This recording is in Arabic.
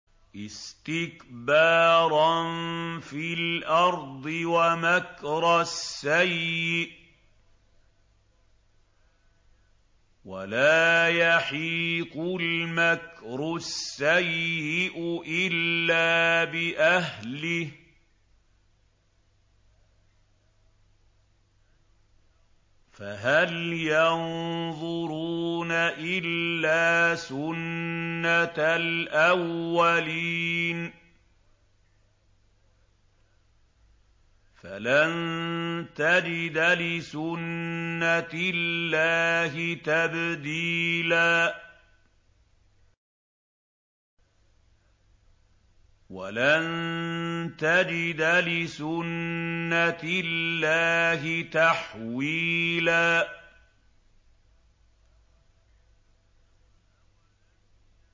اسْتِكْبَارًا فِي الْأَرْضِ وَمَكْرَ السَّيِّئِ ۚ وَلَا يَحِيقُ الْمَكْرُ السَّيِّئُ إِلَّا بِأَهْلِهِ ۚ فَهَلْ يَنظُرُونَ إِلَّا سُنَّتَ الْأَوَّلِينَ ۚ فَلَن تَجِدَ لِسُنَّتِ اللَّهِ تَبْدِيلًا ۖ وَلَن تَجِدَ لِسُنَّتِ اللَّهِ تَحْوِيلًا